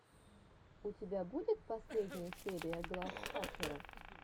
у тебя будет последняя серия глав хакера